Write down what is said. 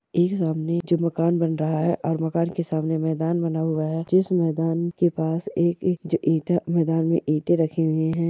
एक सामने जो मकान बन रहा है और मकान के सामने मैदान बना हुआ है जिस मैदान के पास एक-एक ज ईटा मैदान में ईंटे रखी हुई हैं।